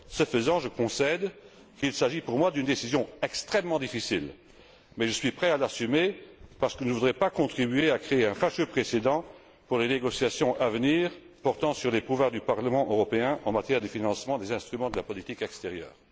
Ce faisant, je concède qu'il s'agit pour moi d'une décision extrêmement difficile, mais je suis prêt à l'assumer, parce ce que je ne voudrais pas contribuer à créer un fâcheux précédent pour les négociations à venir portant sur les pouvoirs du Parlement européen en matière de financement des instruments de la politique extérieure.